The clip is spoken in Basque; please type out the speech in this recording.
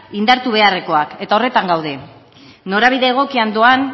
indartu beharrekoak eta horretan gaude norabide egokian doan